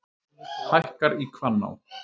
Hækkar í Hvanná